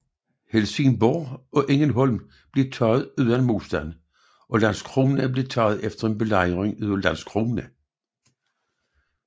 Helsingborg og Ängelholm blev taget uden modstand og Landskrona blev taget efter en belejring af Landskrona